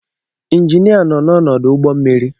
Injinia nọ n'ọdụ ụgbọ mmiri.